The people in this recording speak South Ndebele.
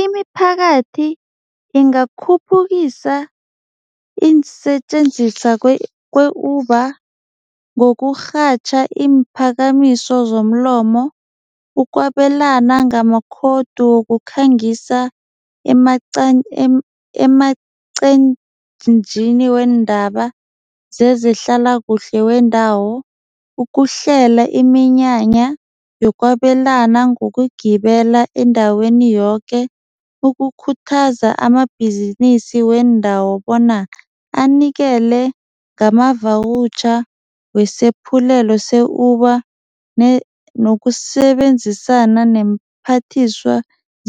Imiphakathi ingakakhuphukisa iinsetjenziswa kwe-Uber ngokurhatjha iimphakamiso zomlomo, ukwabelana ngama-code wokukhangisa emaqenjini weendaba sezehlalakuhle wendawo, ukuhlela iminyanya yokwabelana ngokugibela endaweni yoke, ukukhuthaza amabhizinisi wendawo bona anikele ngama-voucher wesephulelo se-Uber nokusebenzisana neemphathiswa